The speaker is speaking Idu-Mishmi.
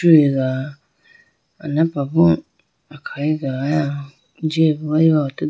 liga anapra bo akhayi ga aya jiyaboo ayiwu atudu .